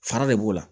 Fara de b'o la